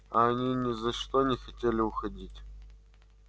а они ни за что не хотели уходить